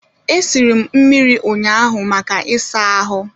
E siri m mmiri ụnyaahụ maka ịsa ahụ